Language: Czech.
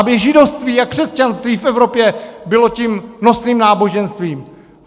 Aby židovství a křesťanství v Evropě bylo tím nosným náboženstvím.